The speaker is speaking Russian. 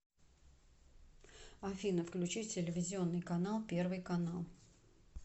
афина включи телевизионный канал первый канал